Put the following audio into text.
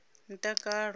mutakalo